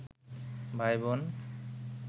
ভাইবোন